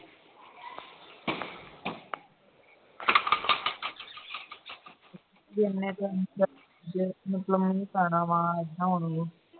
ਮਤਲਬ ਦਿਖਾਉਣਾ ਵਾਂ